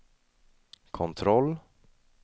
kontroll